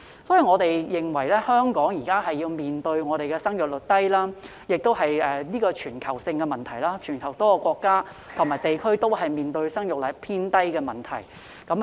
因此，香港面對生育率低的問題，而這亦是全球性問題，全球多個國家及地區都正面對生育率偏低的問題。